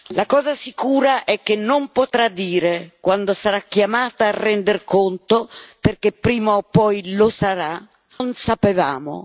La cosa sicura è che non potrà dire, quando sarà chiamata a render conto perché prima o poi lo sarà non sapevamo.